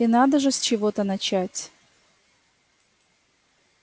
и надо же с чего-то начать